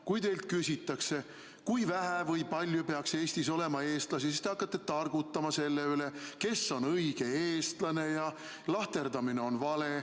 Kui teilt küsitakse, kui vähe või kui palju peaks Eestis olema eestlasi, siis te hakkate targutama selle üle, kes on õige eestlane ja et lahterdamine on vale.